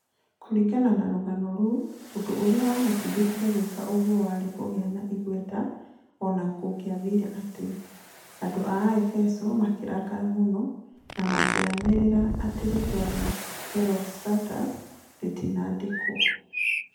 Kũringana na rũgano rũu, ũndũ ũrĩa wamũtindĩkire gwĩka ũguo warĩ kũgĩa na igweta o na kũngĩathire atĩa. Andu a Efeso makĩrakara mũno, na makĩanĩrĩra atĩ rĩĩtwa rĩa Herostratus rĩtikanandĩkwo.